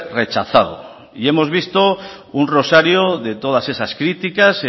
rechazado y hemos visto un rosario de todas esas críticas